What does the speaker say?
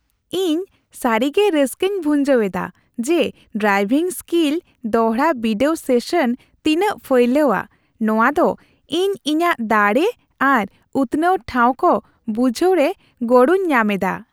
ᱤᱧ ᱥᱟᱹᱨᱤᱜᱮ ᱨᱟᱹᱥᱠᱟᱹᱧ ᱵᱷᱩᱸᱡᱟᱹᱣ ᱮᱫᱟ ᱡᱮ ᱰᱨᱟᱭᱵᱷᱤᱝ ᱥᱠᱤᱞ ᱫᱚᱲᱦᱟ ᱵᱤᱰᱟᱹᱣ ᱥᱮᱥᱚᱱ ᱛᱤᱱᱟᱹᱜ ᱯᱷᱟᱭᱞᱟᱣᱟ; ᱱᱚᱶᱟ ᱫᱚ ᱤᱧ ᱤᱧᱟᱹᱜ ᱫᱟᱲᱮ ᱟᱨ ᱩᱛᱱᱟᱹᱣ ᱴᱷᱟᱶ ᱠᱚ ᱵᱩᱡᱷᱟᱹᱣᱨᱮ ᱜᱚᱲᱚᱧ ᱧᱟᱢ ᱮᱫᱟ ᱾